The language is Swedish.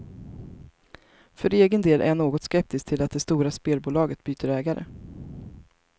För egen del är jag något skeptisk till att det stora spelbolaget byter ägare.